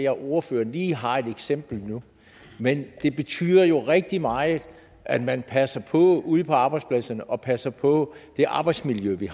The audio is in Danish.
at ordføreren lige har et eksempel nu men det betyder jo rigtig meget at man passer på ude på arbejdspladserne og passer på det arbejdsmiljø vi